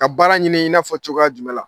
Ka baara ɲini i n'afɔ cogoya jumɛn la?